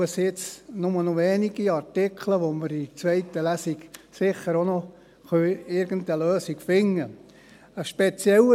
Es sind jetzt nur noch wenige Artikel, für die wir in der zweiten Lesung sicher auch noch irgendeine Lösung finden können.